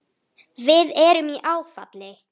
Við erum í áfalli.